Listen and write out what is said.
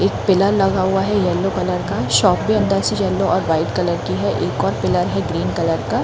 एक पिलर लगा हुआ है येलो कलर का शॉप भी अंदर से येलो और वाइट कलर की है एक और पिलर है ग्रीन कलर का--